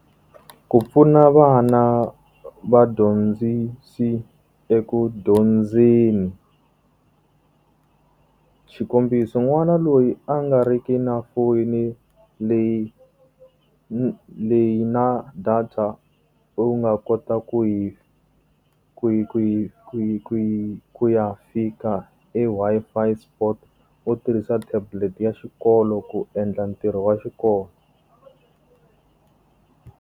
Ku pfuna vana vadyondzisi eku dyondzeni. Xikombiso n'wana loyi a nga ri ki na foyini leyi leyi na data u nga kota ku yi ku yi ku yi ku yi ku ya fika eWi-Fi spot, u tirhisa tablet ya xikolo ku endla ntirho wa xikolo.